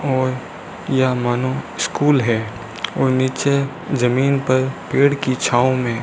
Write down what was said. और यह मानो स्कूल है और नीचे जमीन पर पेड़ की छांव में --